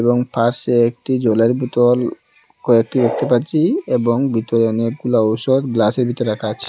এবং পাশে একটি জলের বোতল কয়েকটি দেখতে পাচ্ছি এবং ভিতরে অনেকগুলা ঔষধ গ্লাসের ভিতর রাখা আছে।